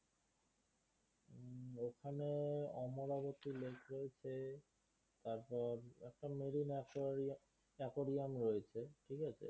ওখানে অমরাবতী lake রয়েছে তারপর একটা মেরুন aquarium রয়েছে ঠিকআছে